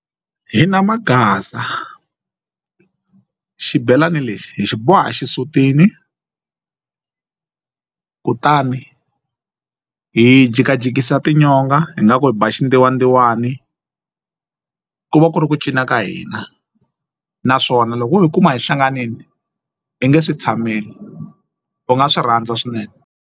Hina maghaza xibelani lexi hi xi boha exisutini kutani hi jikajikisa tinyonga nga ku hi ba xindzuwandzuwani ku va ku ri ku cina ka hina naswona loko u yi kuma hi hlanganini i nge swi tshameli u nga swi rhandza swinene.